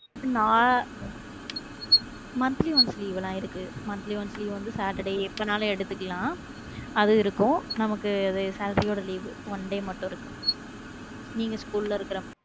நா monthly once ஆயிருக்கு monthly once leave வந்து saturday எப்பனாலும் எடுத்துக்கலாம் அது இருக்கும் நமக்கு அது salary யோட leave oneday மட்டும் இருக்கு நீங்க school ல இருக்கிற.